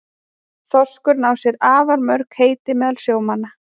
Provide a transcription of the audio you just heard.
Þorskurinn á sér afar mörg heiti meðal sjómanna.